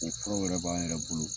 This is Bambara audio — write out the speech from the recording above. O furaw yɛrɛ b'an yɛrɛ bolo.